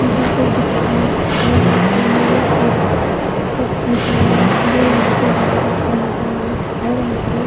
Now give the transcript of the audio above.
यहां पे एक दुकान है लिखा गया जो यहां पे और यहां पे--